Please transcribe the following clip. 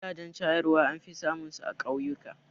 Gidajen shayarwa an fi samun su a ƙauyuka